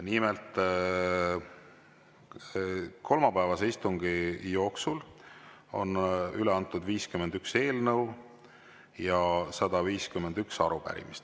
Nimelt, kolmapäevase istungi jooksul on üle antud 51 eelnõu ja 151 arupärimist.